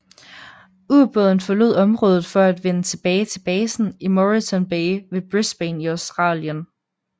Ubåden forlod området for at vende tilbage til basen i Moreton Bay ved Brisbane i Australien